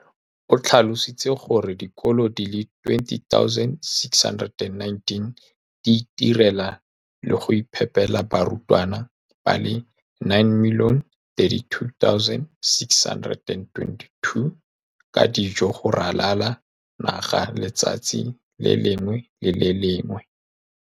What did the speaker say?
O tlhalositse gore dikolo di le 20 619 di itirela le go iphepela barutwana ba le 9 032 622 ka dijo go ralala naga letsatsi le lengwe le le lengwe.